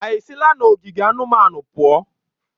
Ha esila n'ogige anụmanụ pụọ?